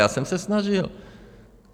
Já jsem se snažil.